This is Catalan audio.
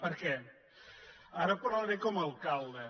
per què ara parlaré com a alcalde